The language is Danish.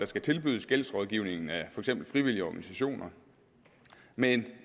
skal tilbydes gældsrådgivning af frivillige organisationer men